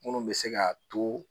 Minnu bɛ se ka to